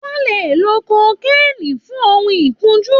Wọn lè lo kokéènì fun ohun ìkunjú